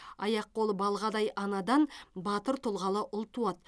аяқ қолы балғадай анадан батыр тұлғалы ұл туады